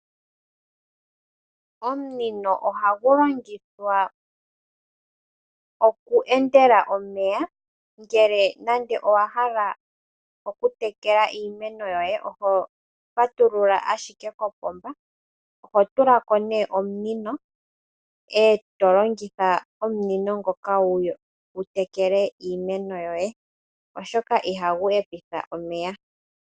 Omunino ohagu longith oku endela omeya ngele nande owahala oku tekela iimenl yoye oho patulula ashike kopomba . Ohotulako nee omunino eto longitha omunino ngoka wu tekele iimeno yoye, oshoka ihagu hepitha omeya .